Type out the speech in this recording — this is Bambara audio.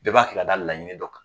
Bɛɛ b'a kɛ ka da laɲini dɔ de kan.